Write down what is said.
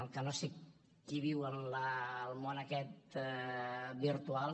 el que no sé qui viu en el món aquest virtual